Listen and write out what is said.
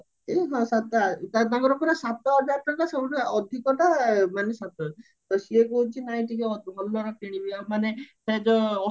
ହଁ ସାତ ତାଙ୍କର ପୁରା ସାତ ସବୁଠୁ ଅଧିକଟା ହାଉଚି ସାତ ହଜାର ତ ସିଏ କହୁଚି ନାଇଁ ଟିକେ ଭଲର କିଣିବ ମାନେ ଯୋଉ